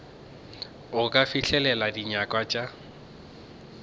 go ka fihlelela dinyakwa tša